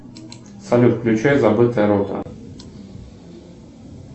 салют включай забытая рота